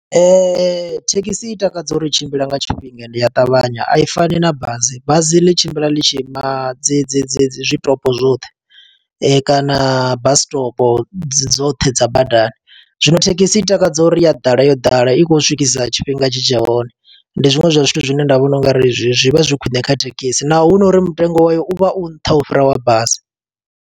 Thekhisi i takadza uri i tshimbila nga tshifhinga, ende i a ṱavhanya. A i fani na bazi, bazi ḽi tshimbila ḽi tshi ima dzi dzi dzi dzi zwitopo zwoṱhe kana bus stop dzoṱhe dza badani. Zwino thekhisi i takadza uri ya ḓala yo ḓala, i khou swikisa tshifhinga tshi tshe hone. Ndi zwiṅwe zwa zwithu zwine nda vhona ungari zwi vha zwi khwiṋe kha thekhisi, naho hu no uri mutengo wayo u vha u nṱha u fhira wa basi.